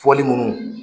Fɔli minnu